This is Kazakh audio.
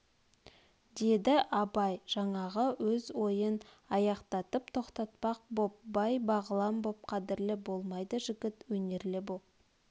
деді абай жаңағы өз ойын аяқтатып тоқтатпақ боп бай бағлан боп қадірлі болмайды жігіт өнерлі боп